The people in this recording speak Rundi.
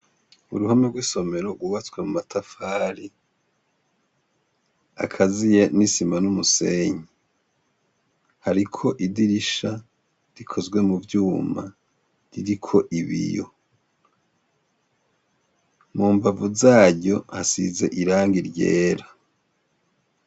Uruhome rw'isomero rwubatse mu matafari akaziye n'isima n'umusenyi. Hariko idirisha rikozwe mu vyuma ririko ibiyo. Mu mbavu zaryo hasize irangi ryera.